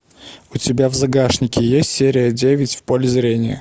у тебя в загашнике есть серия девять в поле зрения